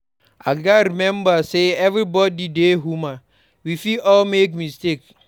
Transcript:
I gats remember say everybody dey human; we fit all make mistakes.